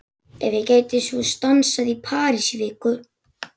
Ef ég gæti svo stansað í París í viku?